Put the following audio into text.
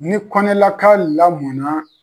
Ni kɔnɛnaka lamɔna